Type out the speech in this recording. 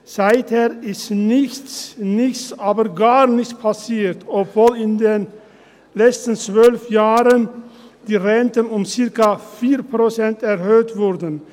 Seither ist nichts, nichts, aber gar nichts passiert, obwohl in den letzten 12 Jahren die Renten um circa 4 Prozent erhöht wurden.